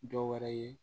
Dɔ wɛrɛ ye